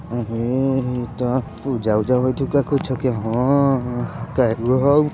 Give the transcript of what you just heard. उम्म्म्म पूजा-उजा ह --